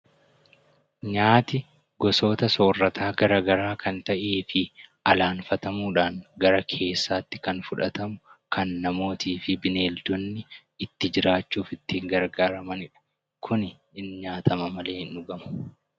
Nyaati gosoota soorataa garagaraa kan ta'ee fi alanfatamuudhaan gara keessaatti kan fudhatamu kan namootii fi bineeldonni itti jiraachuuf ittiin gargaaramani dha. Kuni hin nyaatama malee hin dhugamu.